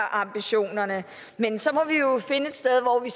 ambitionerne men så må vi jo finde et sted hvor vi